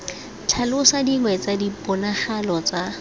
tlhalosa dingwe tsa diponagalo tsa